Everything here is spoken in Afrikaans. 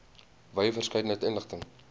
wye verskeidenheid inligting